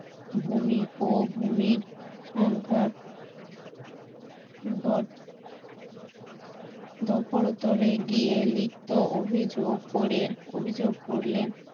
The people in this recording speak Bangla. ভূমি ও ভূমির সংখ্যার গিয়ে লিখিত অভিযোগ করে অভিযোগ করলে